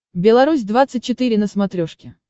белорусь двадцать четыре на смотрешке